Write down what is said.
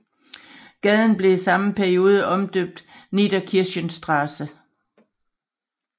Gaden blev i samme periode omdøbt Niederkirchnerstraße